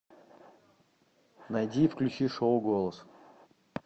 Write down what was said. найди и включи шоу голос